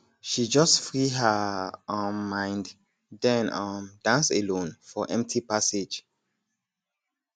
she just free her um mind den um dance alone for empty passage